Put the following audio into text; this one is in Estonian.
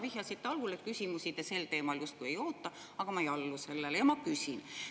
Vihjasite algul, et küsimusi te sel teemal justkui ei oota, aga ma ei allu sellele ja ma küsin.